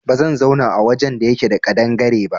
Ba zan zauna a wajen da yake da ƙadangare ba